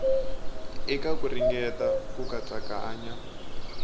eka ku ringeta ku katsakanya